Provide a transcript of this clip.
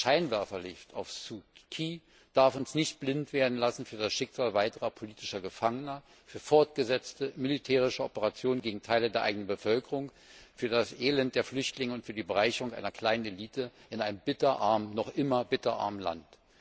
Das Scheinwerferlicht auf Suu Kyi darf uns nicht blind werden lassen für das Schicksal weiterer politischer Gefangener, für fortgesetzte, militärische Operationen gegen Teile der eigenen Bevölkerung, für das Elend der Flüchtlinge und für die Bereicherung einer kleinen Elite in einem noch immer bitter armen Land.